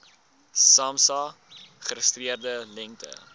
samsa geregistreerde lengte